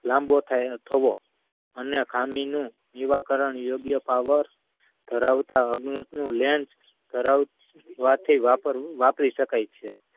લમ્બો થાય થવો અને ખામી નું નિવારા યોગ્ય power ધરાવતા અગ્ય lens કરવાથી વાપરી ~વાપરી શકાય છે